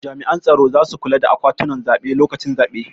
Jami'an tsaro zasu kula da akwatunan zaɓe lokacin zaben